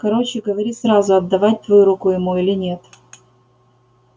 короче говори сразу отдавать твою руку ему или нет